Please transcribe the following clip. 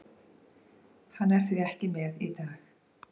Hann er því ekki með í dag.